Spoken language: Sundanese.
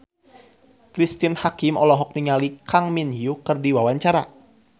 Cristine Hakim olohok ningali Kang Min Hyuk keur diwawancara